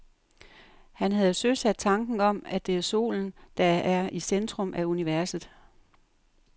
Han havde søsat tanken om, at det er solen, der er i centrum af universet.